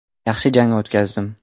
Yaxshi jang o‘tkazdim.